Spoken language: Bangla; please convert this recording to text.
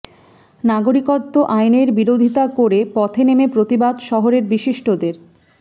নাগরিকত্ব আইনের বিরোধিতা করে পথে নেমে প্রতিবাদ শহরের বিশিষ্টদের